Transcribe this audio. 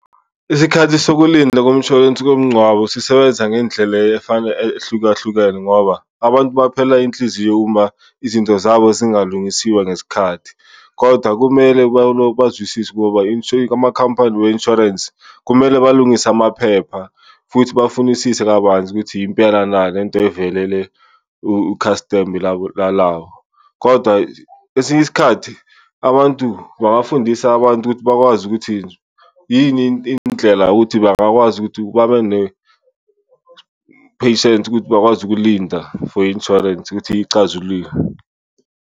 Isikhathi sokulinda komshwalense komngcwabo sisebenza ngendlela ehlukahlukene ngoba abantu baphela inhliziyo uma izinto zabo zingalungisiwa ngesikhathi, kodwa kumele bazwisise ngoba amakhampani we-insurance kumele balungise amaphepha futhi bafunisise kabanzi ukuthi impela na le nto ivelele u-customer labo. Kodwa esinye isikhathi abantu bangafundisa abantu ukuthi bakwazi ukuthi yini indlela yokuthi bangakwazi ukuthi babe ne-patience ukuthi bakwazi ukulinda for insurance ukuthi icazulule.